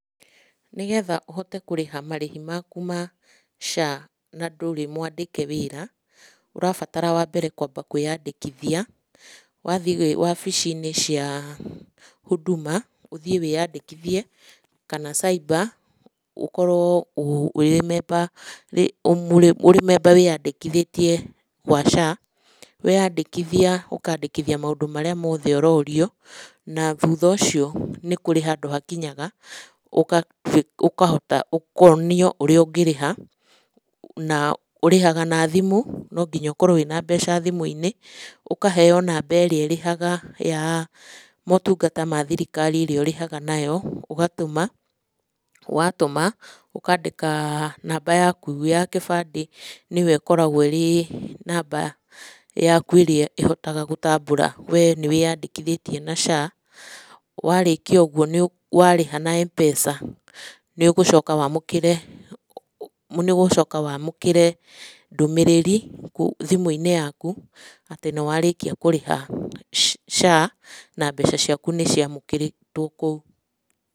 Nĩgetha ũhote kũrĩha marĩhi maku ma SHA na ndũrĩ mwandĩke wĩra ũrabatara wambere kwamba kwiyandĩkithia wathie wabicinĩ cia Huduma ũthie wĩyandĩkuthie kana cyber ũkorwo ũrĩ memba wĩyandĩkithĩtie wa SHA, weyandĩkithia ũkandĩkithia maũndũ marĩa mothe ũrorio, na thutha ũcio nĩ kũrĩ handũ hakinyaga ũkonio ũrĩa ũngĩrĩha na ũrĩhaga na thimũ koguo no nginya ũkorwo na mbeca thimũ-inĩ ũkaheo namba ĩrĩa ĩrĩhaga ya motungata ma thirikari ĩrĩa ũrĩhaga nayo ũgatũma watũma ũkandĩka namba yaku ya kĩbandĩ nĩyo ĩkoragwo ĩrĩ namba yaku ya gũgũtambũra wee nĩwĩyandĩkithĩtie na SHA warĩkia ũguo warĩha na m-pesa nĩũgũcoka wamũkĩre ndũmĩrĩri thimũ-inĩ yaku atĩ nĩwarĩkia kũrĩha SHA na mbeca ciaku nĩciamũkĩrĩtwo kũu.